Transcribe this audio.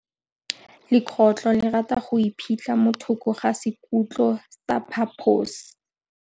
Legôtlô le rata go iphitlha mo thokô ga sekhutlo sa phaposi.